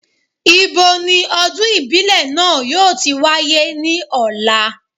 Ibo ni ọdún ìbílẹ̀ náà yóò ti wáyé ní ọ̀la?